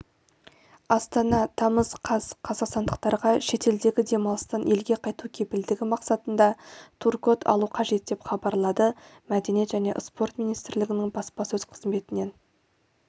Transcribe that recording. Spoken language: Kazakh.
астана тамыз қаз қазақстандықтарға шетелдегі демалыстан елге қайту кепілдігі мақсатында тур-код алу қажет деп хабарлады мәдениет және спорт министрлігінің баспасөз қызметінен